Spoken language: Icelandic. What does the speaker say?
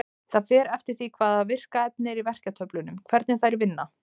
Það fer eftir því hvaða virka efni er í verkjatöflunum hvernig þær vinna.